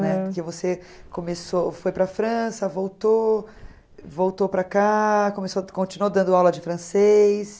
Porque você começou foi para a França, voltou, voltou para cá, começou continuou dando aula de francês.